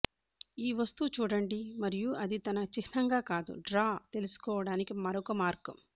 ఈ వస్తువు చూడండి మరియు అది తన చిహ్నంగా కాదు డ్రా తెలుసుకోవడానికి మరొక మార్గం